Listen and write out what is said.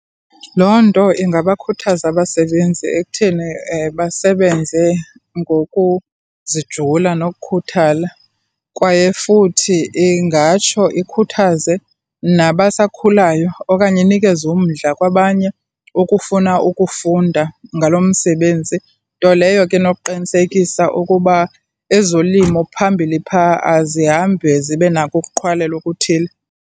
Loo nto ingabakhuthaza abasebenzi ekutheni basebenze ngokuzijula nokukhuthala, kwaye futhi ingatsho ikhuthaze nabasakhulayo okanye inikeze umdla kwabanye ukufuna ukufunda ngalo msebenzi, nto leyo ke inokuqinisekisa ukuba ezolimo phambili phaa azihambi zibe nako ukuqhwalela okuthile.